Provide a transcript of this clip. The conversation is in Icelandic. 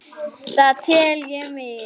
Það tel ég miður.